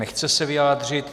Nechce se vyjádřit.